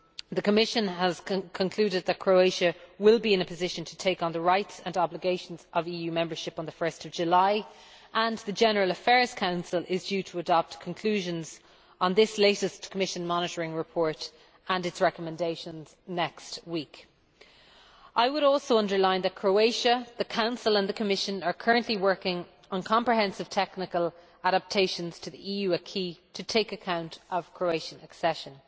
The Commission has concluded that Croatia will be in a position to take on the rights and obligations of EU membership on 1 July 2013, and the General Affairs Council is due to adopt conclusions on this latest Commission Monitoring Report and its recommendations next week. I would also underline that Croatia, the Council and the Commission are currently working on comprehensive technical adaptations to the EU acquis to take account of the Croatian accession.